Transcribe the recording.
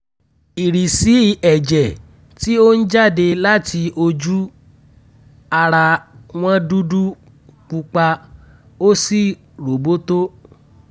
ìrísí ẹ̀jẹ̀ tí ó ń jáde láti ojú-ara wọn dúdú pupa ó sì róbótó